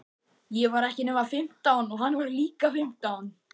Ég var ekki nema fimmtán og hann var líka fimmtán.